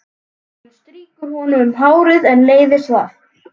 Hún strýkur honum um hárið en leiðist það.